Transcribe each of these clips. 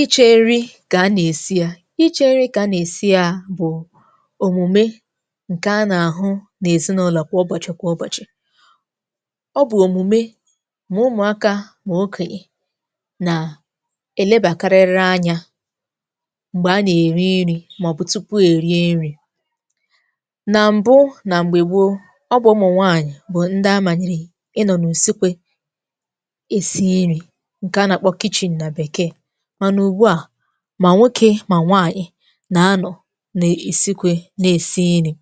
Iche nri̇ kà a nà-èsi ya. Ichė nri̇ kà a nà-èsi ya bụ̀ òmùme ǹkè a nà-àhụ nà-èzinụlọ̀ kwa ọbọ̀chị̀ kwa ụbọ̀chị̀. Ọ bụ̀ òmùme mà ụmụ̀akȧ mà okoye nà elebàkarịrị anyȧ m̀gbè a nà-èri nri màọ̀bụ̀ tupu èrie nri̇. Nà m̀bụ, nà m̀gbè gboo, ọ bụ̇ ụ̀mụ̀ nwànyị̀ bụ̀ ndị amànyịrị ịnọ̀ nà ùsikwe è si iri̇ nke a na akpọ na bekee, mana ugbua, mà nwokė, mà nwaànyị̀ nà-anọ̀ nà-èsikwe nà-èsi nri̇.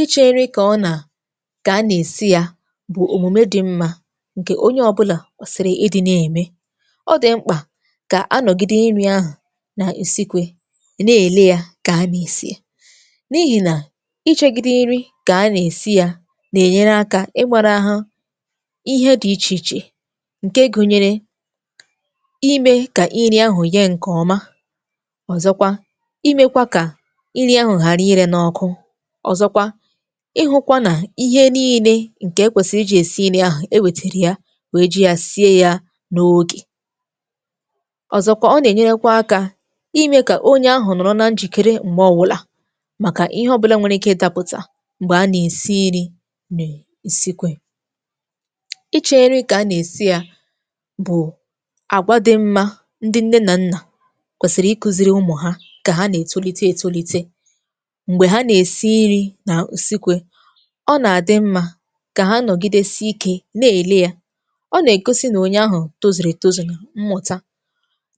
Iche nri kà ọ nà, kà a nà-èsi yȧ bụ̀ òmùme dị̇ mmȧ ǹkè onye ọbụlà kwesị̀rị̀ ịdị̇ nà-ème. Ọdị̀ mkpà kà anọ̀gide nri̇ ahụ̀ nà-isikwe nà-èle yȧ kà a nà-èsi a, n’ihì nà ichė gide ìri kà a nà-èsi yȧ nà-ènyere akȧ ị gbara ghȧ ihe dị̇ ichè ichè, nke gụnyere, imė kà iri ahụ̀ yee ǹkè ọma, ọ̀zọkwa imėkwa kà nri ahụ̀ ghàra ịrė n’ọkụ, ọ̀zọkwa, ihụkwa nà ihe niile ǹkè ekwèsịrị iji̇ èsi nri ahụ̀, e wètèrè ya wee ji ya sie ya n’ogè, ọ̀zọkwa ọ nà-ènyerekwa akȧ imė kà onye ahụ̀ nọ̀rọ̀ na njìkere m̀gbè ọ wụlà, màkà ihe ọ̇bụ̇là nwèrè ike ịdapụ̀tà m̀gbè a nà-èsi iri̇ nè isikwe. Iche iri ka-ana esi ya bu àgwà dị mma ndị nne na nna kwèsị̀rị̀ iku̇ziri ụmụ̀ ha kà ha nà-ètolite ètolite, m̀gbè ha nà-èsi nri nà ùsikwe, ọ nà-àdị mmȧ kà ha nọ̀gide si ikė na-èle ya, ọ nà-ègosi nà onye ahụ̀ tozìrì ètozù na mmụ̀ta,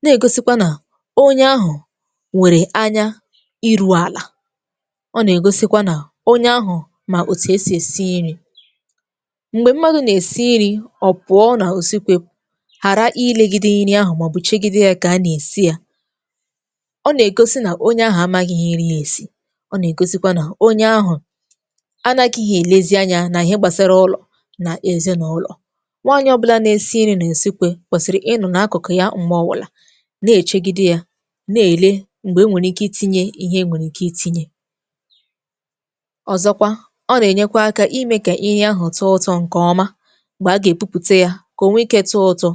na-ègosikwa nà onye ahụ̀ nwèrè anya iru̇ àlà, ọ nà-ègosikwa nà onye ahụ̀ mà òtù esì èsi nri. Mgbè mmadu̇ nà-èsi nri, ọ̀ pụọ nà ùsikwe, hara ilegide iri ahụ maọbụ chegide ya ka-ana esi ya, ọ nà-egosi nà onye ahụ̀ amaghị̇ ihe ịrị̇ èsi, ọ nà-egosikwa nà onye ahụ̀ anàkịhị èlezi anya nà ihe gbàsara ụlọ nà èzinàụlọ̀. Nwaanyị̇ ọbụlà na-esi ịrị̇ nà èsikwe kwesịrị ịnụ̇ n’akụ̀kụ̀ ya ṁgbe ọwụ̀là, na-èchegide yȧ, na-èle m̀gbè e nwèrè ike ịtinye ihe e nwèrè ike ịtinye. Ọ̀zọkwa, ọ nà-ènyekwa akȧ imė kà iri ahụ̀ tụọ ụtọ ǹkè ọma m̀gbè a gà-èbupùte ya, kà o nwee ike tụọ ụtọ,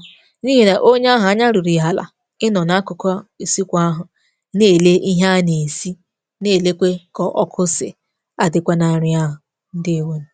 n'ihi na onye ahụ ányá luru ya ala inọ na akụkụ isikwe ahụ na-ele ihe a na-esi, n’èlekwà kà ọ̀kụ sị̀ àdịkwa na nrị̀a ahụ, ǹdewȯnù.